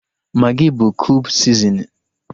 Magị bụ kube sizinin